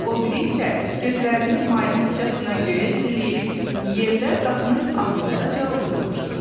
O biri isə gözlərini maymaqcasına göyə zilləyib yerdə qapının ağzındaca oturmuşdu.